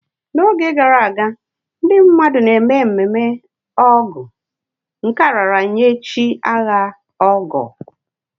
N'oge gara aga, ndị mmadụ na-eme ememe Ọgu, nke a raara nye chi agha, Ọgọ.